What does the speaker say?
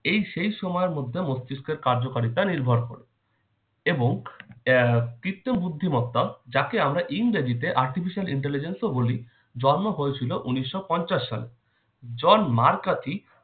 এই সেই সময়ের মধ্যে মস্তিষ্কের কার্যকারিতা নির্ভর করে এবং আহ কৃত্রিম বুদ্ধিমত্তা যাকে আমরা ইংরেজিতে artificial intelligence ও বলি জন্ম হয়েছিল উনিশশো পঞ্চাশ সালে জন ম্যাকার্থি